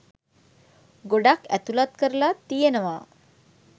ගොඩක් ඇතුලත් කරලා තියෙනවා